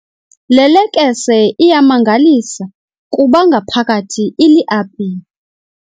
Le lekese iyamangalisa kuba ngaphakathi iliapile.